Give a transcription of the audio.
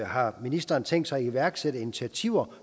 har ministeren tænkt sig at iværksætte initiativer